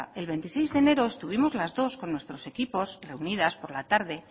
el veintiséis de enero estuvimos las dos con nuestros equipos reunidas por la tarde